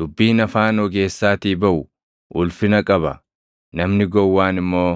Dubbiin afaan ogeessaatii baʼu ulfina qaba; namni gowwaan immoo